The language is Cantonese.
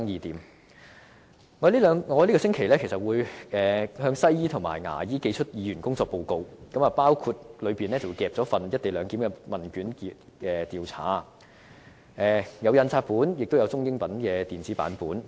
我會在這個星期向西醫和牙醫寄出議員工作報告，當中包括一份"一地兩檢"的問卷調查，有印刷本亦有中英文電子版本。